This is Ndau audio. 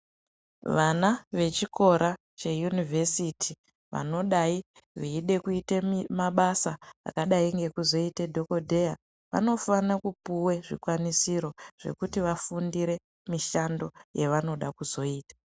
Vana vechikora cheyunivhesiti vanodai veide kuita mabasa akadai ngekuita dhokodheya vanofanira kupihwe zvikwanisiro zvekuti vafundire mishando yavanoda kuzoita.